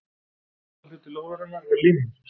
aðalhluti lóðarinnar var línan